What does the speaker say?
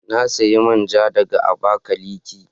Na siya man ja daga Abakaliki.